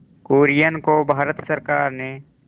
कुरियन को भारत सरकार ने